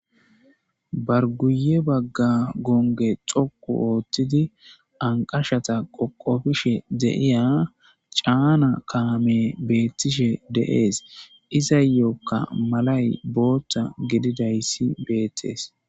Ba guye baga gonge dhoqu othidi anqashata qoqofishe de'iya chana kamey betishe de'es izayoka malay botha gididaysi betes